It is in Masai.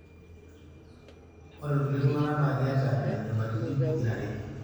ore ilkulie tungana na ketaa nena nyamalitin pokirare.